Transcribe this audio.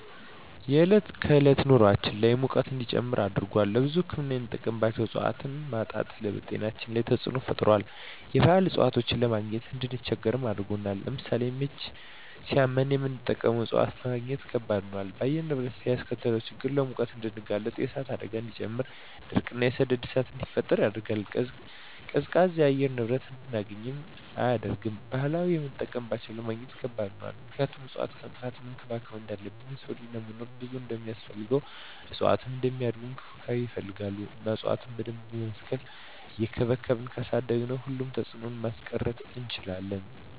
የዕለት ከዕለት ኑራችን ላይ ሙቀት እንዲጨምር አድርጎታል። ለብዙ ህክምና የምንጠቀማቸው እፅዋቶች ማጣት በጤናችን ላይ ተፅዕኖ ፈጥሯል የባህል እፅዋቶችን ለማግኘት እንድንቸገር አድርጎናል። ለምሳሌ ምች ሳመን የምንጠቀመው እፅዋት ለማግኘት ከበድ ሆኗል። በአየር ንብረት ላይ ያስከተለው ችግር ለሙቀት እንድንጋለጥ የእሳት አደጋን እንዲጨምር ድርቅ እና የሰደድ እሳትን እንዲፈጠር ያደርጋል። ቀዝቃዛ የአየር ንብረት እንድናገኝ አያደርግም። ለባህላዊ የምጠቀምባቸው ለማግኘት ከባድ ሆኗል ምክንያቱም እፅዋትን ከማጥፋት መንከባከብ እንዳለብን የሰው ልጅ ለመኖር ብዙ እንደማስፈልገው እፅዋትም እንዲያድጉ እንክብካቤ ይፈልጋሉ እና እፅዋቶችን በደንብ በመትከል እየቸንከባከብን ካሳደግን ሁሉንም ተፅዕኖ ማስቀረት እንችላለን።